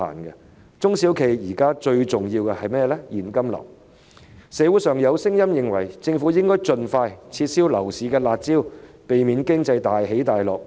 現時對中小企最重要的就是現金流，社會上有聲音認為政府應該盡快撤銷樓市"辣招"，避免經濟大起大落。